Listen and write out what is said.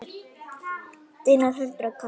Þínar Hildur og Katla.